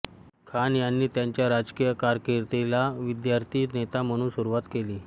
खान यांनी त्यांच्या राजकीय कारकिर्दीला विद्यार्थी नेता म्हणून सुरुवात केली